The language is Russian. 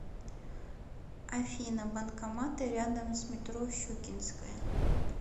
афина банкоматы рядом с метро щукинская